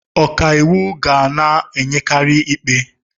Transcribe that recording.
Ọka iwu ga na-enyekari ikpe.